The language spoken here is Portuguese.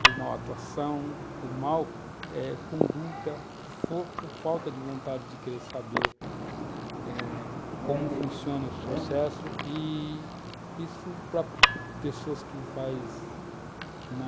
por mal atuação, por mal eh, conduta, por fo... falta de vontade de querer saber eh, como funcionam os processos i-i isso para pessoas que faz uma...